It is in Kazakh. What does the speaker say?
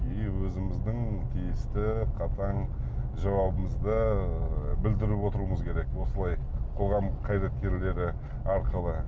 и өзіміздің тиісті қатаң жауабымызды ыыы білдіріп отыруымыз керек осылай қоғам қайраткерлері арқылы